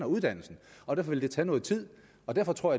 uddannelsen og derfor vil det tage noget tid derfor tror